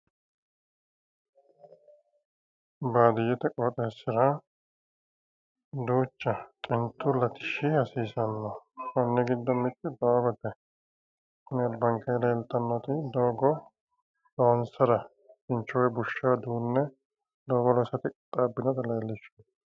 Baadiyyete qooxeessira duucha xintu latishshi hasiisanno konni giddo mittu dooote tini albanke leeltannoti doogo loonsara kincho woyi bushsha duunne doogo loosate qixxaabbinota leellishshanno